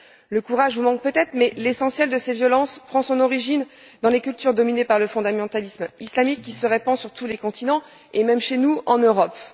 Le courage vous manque peut être mais l'essentiel de cette violence prend son origine dans les cultures dominées par le fondamentalisme islamique qui se répand sur tous les continents, et même chez nous en Europe.